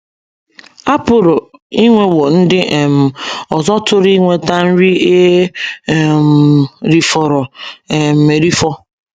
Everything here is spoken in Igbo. A pụrụ inwewo ndị um ọzọ tụrụ inweta nri e um rifọrọ um erifọ.